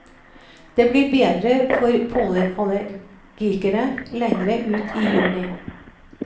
Det blir bedre for pollenallergikere lenger ut i juni.